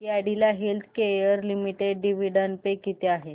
Cadila healthcare limited dividend pay किती आहे